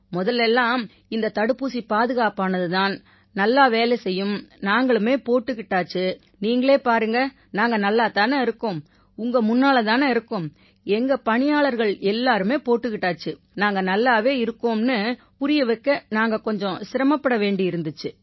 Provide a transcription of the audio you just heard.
முதல்ல எல்லாம் இந்தத் தடுப்பூசி பாதுகாப்பானது தான் நல்லா வேலை செய்யும் நாங்களுமே போட்டுக்கிடாச்சு நீங்களே பாருங்க நாங்க நல்லாத் தானே இருக்கோம் உங்க முன்னால தானே இருக்கோம் எங்க பணியாளர்கள் எல்லாருமே போட்டுக்கிட்டாச்சு நாங்க நல்லாவே இருக்கோம்னு புரிய வைக்க நாங்க கொஞ்சம் சிரமப்பட வேண்டியிருந்திச்சு